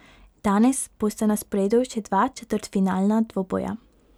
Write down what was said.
Danes bosta na sporedu še dva četrtfinalna dvoboja.